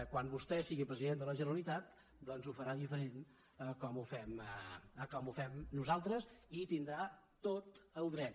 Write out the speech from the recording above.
quan vostè sigui president de la generalitat doncs ho farà diferent de com nosaltres i hi tindrà tot el dret